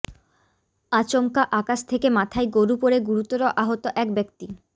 আচমকা আকাশ থেকে মাথায় গরু পড়ে গুরুতর আহত এক ব্যক্তি